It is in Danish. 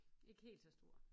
Ikke helt så store